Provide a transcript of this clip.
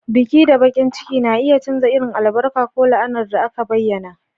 Biki da bakin ciki na iya canza irin albarka ko la'anar da aka bayyana.